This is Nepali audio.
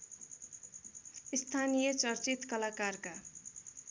स्थानीय चर्चित कलाकारका